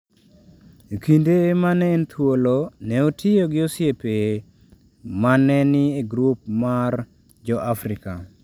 E kinde ma ne en thuolo, ne otiyo gi osiepe ma ne ni e grup mar jo-Afrika.